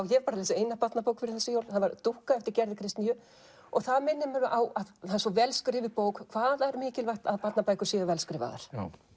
ég hef lesið eina barnabók fyrir þessi jól dúkku eftir Gerði Kristnýju það minnir mig á það er svo vel skrifuð bók hvað það er mikilvægt að barnabækur séu vel skrifaðar